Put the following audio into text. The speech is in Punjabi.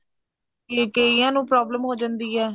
ਕੇ ਕਈਆਂ ਨੂੰ problem ਹੋ ਜਾਂਦੀ ਐ